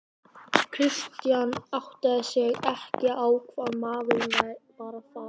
Christian áttaði sig ekki á hvað maðurinn var að fara.